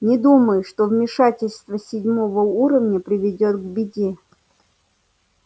не думаю что вмешательство седьмого уровня приведёт к беде